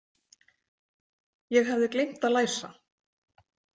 Ég hafði gleymt að læsa.